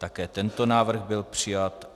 Také tento návrh byl přijat.